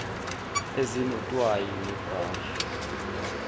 ezinot wayi ngebrashi